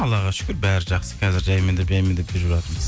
аллаға шүкір бәрі жақсы қазір жаймендеп жаймендеп жүріп жатырмыз